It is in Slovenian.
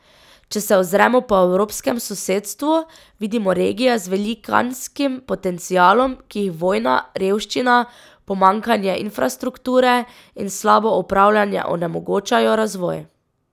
Če se ozremo po evropskem sosedstvu, vidimo regije z velikanskim potencialom, ki jim vojna, revščina, pomanjkanje infrastrukture in slabo upravljanje onemogočajo razvoj.